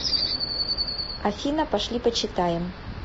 афина пошли почитаем